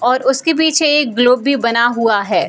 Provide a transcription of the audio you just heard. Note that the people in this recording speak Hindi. और उसके पीछे एक ग्लोब भी बना हुआ है।